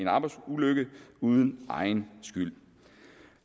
arbejdsulykke uden egen skyld